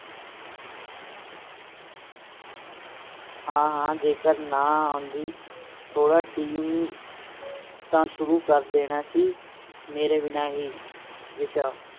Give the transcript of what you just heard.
ਹਾਂ ਹਾਂ ਜੇਕਰ ਨਾ ਆਉਂਦੀ ਥੋੜਾ ਟੀਮ ਤਾ ਸ਼ੁਰੂ ਕਰ ਦੇਣਾ ਸੀ ਮੇਰੇ ਬਿਨਾ ਹੀ ਵਿਸ਼ਾ